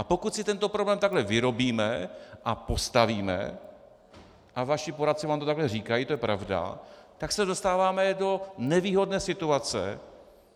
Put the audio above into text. A pokud si tento problém takto vyrobíme a postavíme, a vaši poradci vám to takhle říkají, to je pravda, tak se dostáváme do nevýhodné situace.